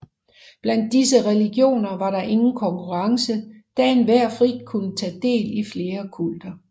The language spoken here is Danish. Blandt disse religioner var der ingen konkurrence da enhver frit kunne tage del i flere kulter